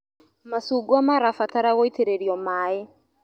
Macungwa marabatara gũitĩrĩrio maĩ.